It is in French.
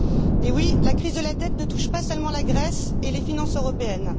Eh oui, la crise de la dette ne touche pas seulement la Grèce et les finances européennes.